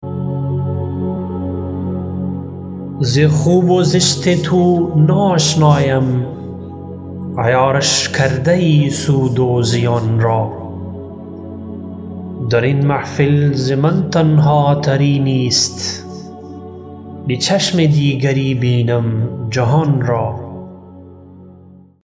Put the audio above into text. ز خوب و زشت تو ناآشنایم عیارش کرده یی سود و زیان را درین محفل ز من تنها تری نیست به چشم دیگری بینم جهان را